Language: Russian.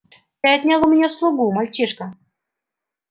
ты отнял у меня слугу мальчишка